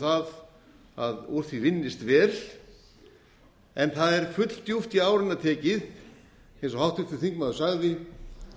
það að úr því vinnist vel það er fulldjúpt í árinni tekið eins og háttvirtur þingmaður sagði